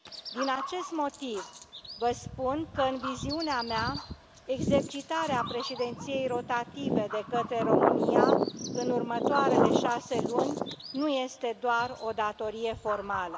Din acest motiv vă spun că, în viziunea mea, exercitarea președinției rotative de către România în următoarele șase luni nu este doar o datorie formală.